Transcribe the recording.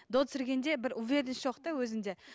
до түсіргенде бір уверенность жоқ та өзінде